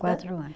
Quatro anos.